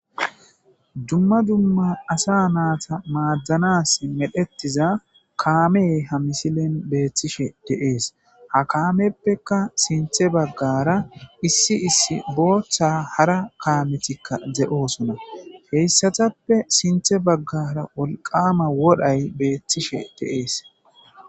Dumma dumma asaa naatha maaddanaasi medhethiza kaamee misilen beethishe de7ees; ha kaameppekka sinththe baggaara issi issi booththa hara kaameththikka de7oosona; he7isathappe sinththa baggaara wolqqaama wodhay beeththishe de7ees.